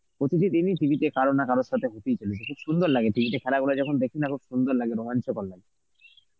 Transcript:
প্রতিটি দিনই TV তে কারোর না কারোর সাথে হতেই চলেছে. খুব সুন্দর লাগে TV তে খেলা ওরা যখন দেখি না খুব সুন্দর লাগে, রোমাঞ্চকর লাগে.